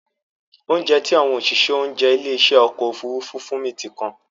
Óunjẹ tí àwọn òṣìṣẹ́ oúnjẹ ilé ìṣe ọkọ̀ Òfurufú fún mi ti kan.